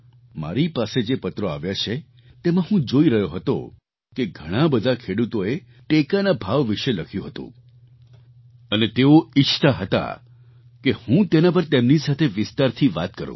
મારી પાસે જે પત્રો આવ્યા છે તેમાં હું જોઈ રહ્યો હતો કે ઘણા બધા ખેડૂતોએ ટેકાના ભાવ વિશે લખ્યું હતું અને તેઓ ઈચ્છતા હતા કે હું તેના પર તેમની સાથે વિસ્તારથી વાત કરું